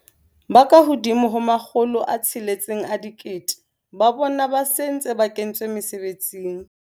Ba ka hodimo ho 600 000 ba bona ba se ba ntse ba kentswe mesebetsing.